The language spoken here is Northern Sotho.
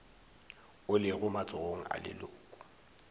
o lego matsogong a leloko